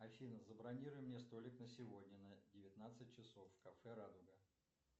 афина забронируй мне столик на сегодня на девятнадцать часов в кафе радуга